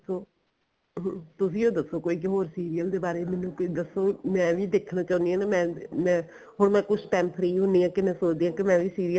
ਦੱਸੋ ਅਹ ਤੁਸੀਂ ਓ ਦੱਸੋ ਕੋਈ ਹੋਰ serial ਦੇ ਬਾਰੇ ਮੈਨੂੰ ਕੁੱਝ ਦੱਸੋ ਮੈਂ ਵੀ ਦੇਖਣਾ ਚਾਉਣੀ ਆ ਨਾ ਮੈਂ ਮੈਂ ਹੁਣ ਮੈਂ ਕੁੱਝ time free ਹੁੰਨੀ ਆ ਤੇ ਮੈਂ ਸੋਚਦੀ ਆ ਕਿ ਮੈਂ ਵੀ serial